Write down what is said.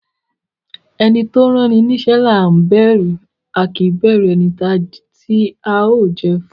Ẹni tó ránni níṣẹ́ là á bẹ̀rù, a kì í bẹ̀rù ẹni tí a ó jẹ́ ẹ fún.